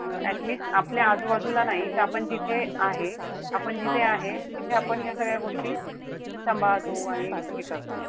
Uh at least आपल्या आजूबाजूला नाई त आपण जिथे आहे. आपण जिथे आहे तिथे आपण ह्या सगळ्या गोष्टी सांभाळतो आणि हे करतो.